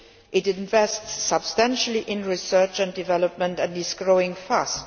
It invests substantially in research and development, and is growing fast.